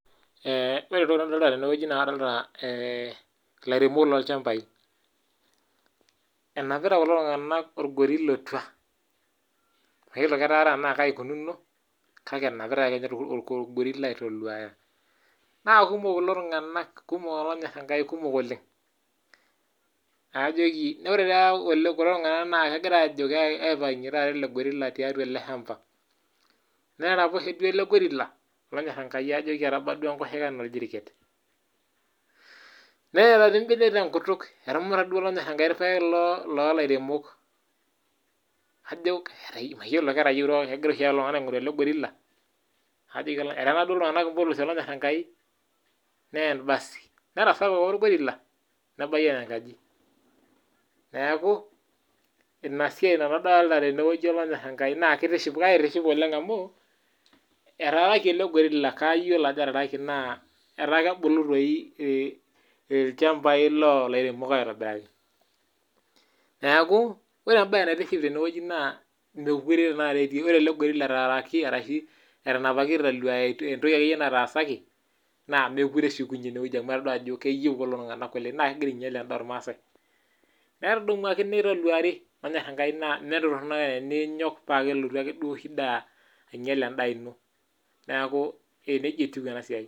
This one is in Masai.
Ore entoki nadolta tenewuei naa kadolta ilairemok lolchambai , enapita kulo tunganak orgorila otua , mayiolo tenaa ketaara tenaa kai ikununo ,kake enapitae ake ninye orgorilla , naa kumok kulo tunganak , naa ore taata kulo tunganak kegira aipangie elegorila tiatua eleshamba , netaraposhie duo elegorilla eba enkoshoke anaa ordirkeny , neeta dii imbenek tenkutuk etumuta duo irpaek, eteena duo iltunganak impolosi , naa kaitiship amu etaa kebulu irpaek aitobiraki.